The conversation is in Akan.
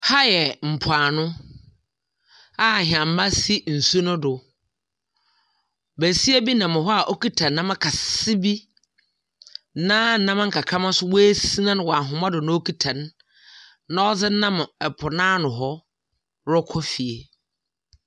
Ha yɛ mpo ano a nhyɛma sisi nsuo no do. Besia bi nam ha wɔkita nnam kɛse bi na nnam kakrama nso wa sina no wɔ ahoma do na wɔkita no na wɔde nam po na ano hɔ rekɔ fie.